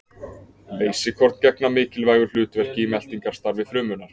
Leysikorn gegna mikilvægu hlutverki í meltingarstarfi frumunnar.